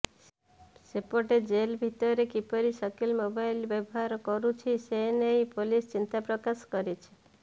ସେପଟେ ଜେଲ ଭିତରେ କିପରି ସକିଲ ମୋବାଇଲ ବ୍ୟବହାର କରୁଛି ସେ ନେଇ ପୋଲିସ ଚିନ୍ତା ପ୍ରକାଶ କରିଛି